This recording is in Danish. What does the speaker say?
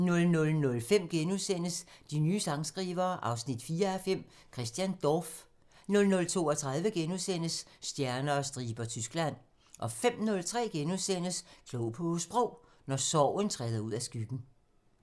00:05: De nye sangskrivere 4:5 – Christian Dorph * 00:32: Stjerner og striber – Tyskland * 05:03: Klog på Sprog: Når sorgen træder ud af skyggen *